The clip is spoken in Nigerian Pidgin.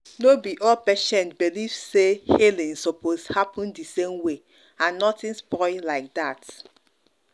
no be all patients believe say healing suppose happen the same way and nothing spoil like that.